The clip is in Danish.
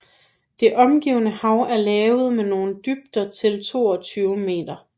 Det omgivende hav er lavt med nogle dybder til 22 meter